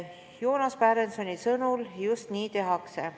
Joonas Pärensoni sõnul just nii tehakse.